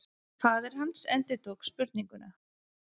Faðir hans endurtók spurninguna.